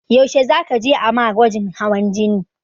Yaushe za ka je a ma gwajin hawan jini?